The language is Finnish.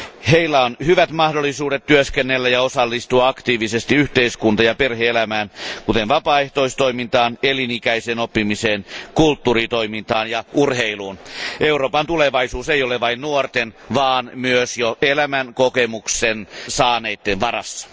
Heillä on hyvät mahdollisuudet työskennellä ja osallistua aktiivisesti yhteiskunta ja perhe elämään, kuten vapaaehtoistoimintaan, elinikäiseen oppimiseen, kulttuuritoimintaan ja urheiluun. Euroopan tulevaisuus ei ole vain nuorten vaan myös jo elämänkokemusta saaneiden varassa.